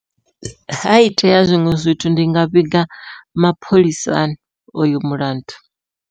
Ha itea zwiṅwe zwithu ndi nga vhiga mapholisani oyo mulandu.